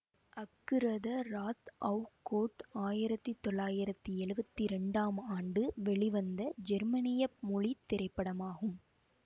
Aguirre wrath of God ஆயிரத்தி தொள்ளாயிரத்தி எழுவத்தி இரண்டாம் ஆண்டு வெளிவந்த ஜெர்மனிய மொழி திரைப்படமாகும்